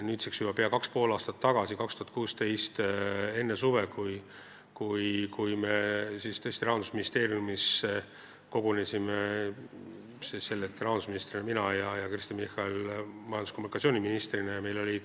Nüüdseks juba pea kaks ja pool aastat tagasi, 2016. aastal enne suve, me tõesti kogunesime Rahandusministeeriumis, tol hetkel mina rahandusministrina ja Kristen Michal majandus- ja kommunikatsiooniministrina.